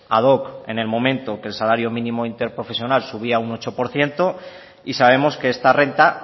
ad hoc en el momento que el salario mínimo interprofesional subía un ocho por ciento y sabemos que esta renta